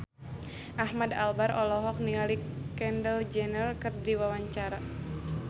Ahmad Albar olohok ningali Kendall Jenner keur diwawancara